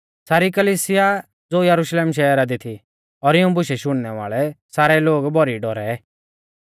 सारी कलिसिया ज़ो यरुशलेमा शहरा दी थी और इऊं बुशै शुणनै वाल़ै सारै लोग भौरी डौरै